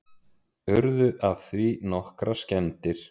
Urðu af því nokkrar skemmdir